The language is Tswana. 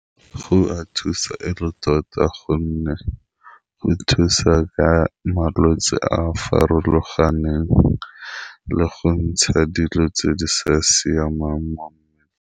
Go a thusa e le tota gonne go thusa ka malwetse a a farologaneng, le go ntsha dilo tse di sa siamang mo mmeleng.